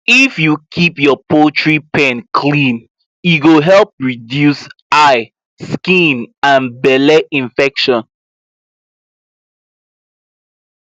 if you keep your poultry pen clean e go help reduce eye skin and belle infection